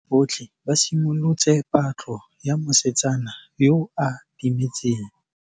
Banna botlhê ba simolotse patlô ya mosetsana yo o timetseng.